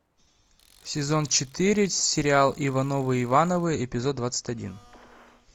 сезон четыре сериал ивановы ивановы эпизод двадцать один